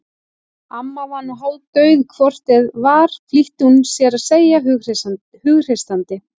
Amma var nú hálfdauð hvort eð var flýtti hún sér að segja hughreystandi.